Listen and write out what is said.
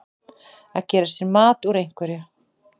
Að gera sér mat úr einhverju